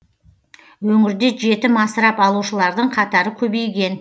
өңірде жетім асырап алушылардың қатары көбейген